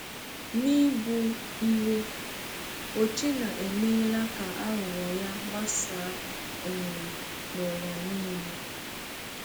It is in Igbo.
N’ịbụ iwe, Ochena emeela ka aghụghọ ya gbasaa um n’ụwa niile.